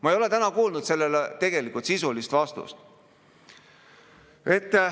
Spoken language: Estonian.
Ma ei ole täna kuulnud sellele tegelikult sisulist vastust.